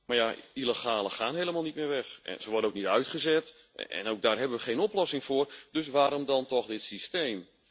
dan mag. Maar illegalen gaan helemaal niet meer weg. Ze worden ook niet uitgezet. Ook daar hebben we geen oplossing voor. Dus waarom dan toch